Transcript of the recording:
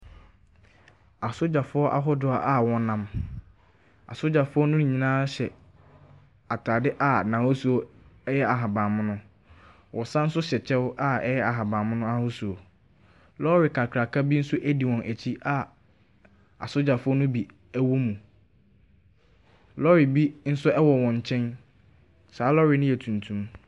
Asogyafoɔ ahodoɔ a wɔnam. Asogyafoɔ no nyinaa hyɛ atade a n'ahosuo yɛ ahaban mono. Wɔsan nso hyɛ kyɛw a ɛyɛ ahaban mono ahosuo. Lɔre kakraka bi nso di wɔn akyi a asogyafoɔ no bi wom. Lɔre bi nso wɔ wɔn kyɛn. Saa lɛre no yɛ tuntum.